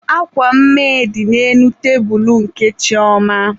Akwa mme dị n'elu tebulubụ nke Chioma.